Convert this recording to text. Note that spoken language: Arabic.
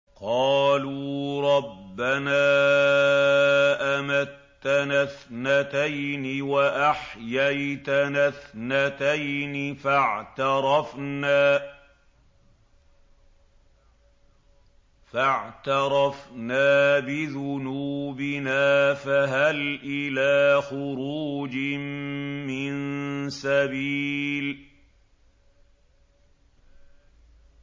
قَالُوا رَبَّنَا أَمَتَّنَا اثْنَتَيْنِ وَأَحْيَيْتَنَا اثْنَتَيْنِ فَاعْتَرَفْنَا بِذُنُوبِنَا فَهَلْ إِلَىٰ خُرُوجٍ مِّن سَبِيلٍ